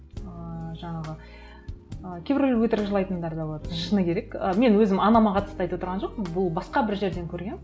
ыыы жаңағы ы кейбіреулер өтірік жылайтындар да болады шыны керек ы мен өзім анама қатысты айтып отырған жоқпын бұл басқа бір жерден көргенмін